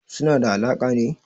Suna da alaƙa ne?